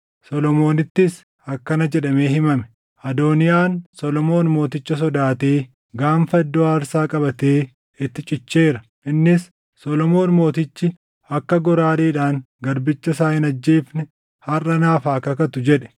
Solomoonittis akkana jedhamee himame; “Adooniyaan Solomoon mooticha sodaatee gaanfa iddoo aarsaa qabatee itti cicheera. Innis, ‘Solomoon mootichi akka goraadeedhaan garbicha isaa hin ajjeefne harʼa naaf haa kakatu’ jedhe.”